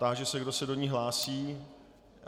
Táži se, kdo se do ní hlásí.